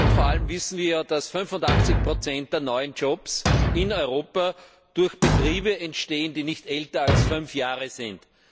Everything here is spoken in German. Vor allem wissen wir, dass 85 der neuen Jobs in Europa durch Betriebe entstehen, die nicht älter als fünf Jahre sind.